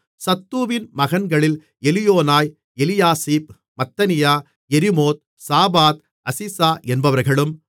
சத்தூவின் மகன்களில் எலியோனாய் எலியாசிப் மத்தனியா யெரிமோத் சாபாத் அசிசா என்பவர்களும்